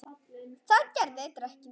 Það gerir dekkin svört.